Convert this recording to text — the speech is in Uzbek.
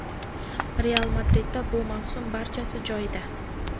"Real" Madridda bu mavsum barchasi joyida.